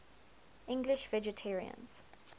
english vegetarians